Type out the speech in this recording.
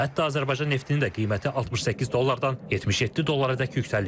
Hətta Azərbaycan neftini də qiyməti 68 dollardan 77 dollara dək yüksəlib.